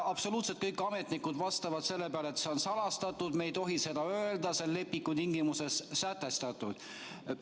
Absoluutselt kõik ametnikud vastavad selle peale, et see on salastatud, me ei tohi seda öelda, nii on lepingu tingimustes sätestatud.